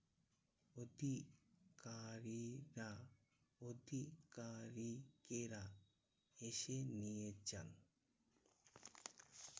অধিকারীরা আধিকারিকেরা এসে নিয়ে যান।